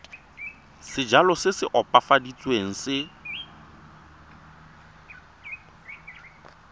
sejalo se se opafaditsweng se